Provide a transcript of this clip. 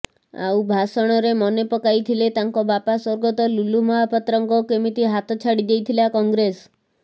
ଆଉ ଭାଷଣରେ ମନେ ପକାଇଥିଲେ ତାଙ୍କ ବାପା ସ୍ୱର୍ଗତ ଲୁଲୁ ମହପାତ୍ରଙ୍କ କେମିତି ହାତ ଛାଡିଦେଇଥିଲା କଂଗ୍ରେସ